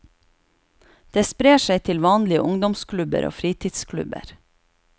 Det sprer seg til vanlige ungdomsklubber og fritidsklubber.